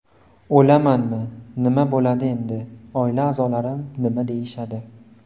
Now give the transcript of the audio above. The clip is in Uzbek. O‘lamanmi, nima bo‘ladi endi, oila a’zolarim nima deyishadi?